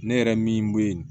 Ne yɛrɛ min bɛ